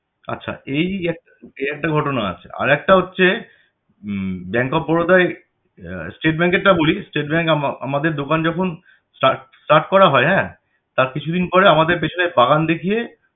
আচ্ছা এই এক~ এই একটা ঘটনা আছে আরেকটা হচ্ছে হম bank of Baroda য় state bank এর টা বলি state bank এ আমা~ আমাদের দোকান যখন start start করা হয় হ্যাঁ তার কিছু দিন পরে আমাদের পেছনের বাগান দেখিয়ে